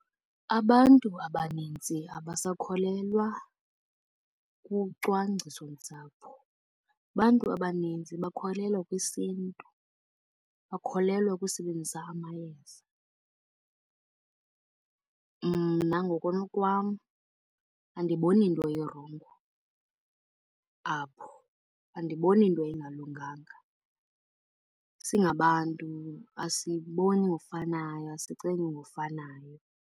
Abantu abanintsi abasakholelwa kucwangciso-ntsapho. Abantu abaninzi bakholelwa kwisiNtu, bakholelwa ukusebenzisa amayeza. Mna ngokunokwam andiboni nto irongo apho, andiboni nto engalunganga. Singabantu, asiboni ngofanayo, asicingi ngofanayo.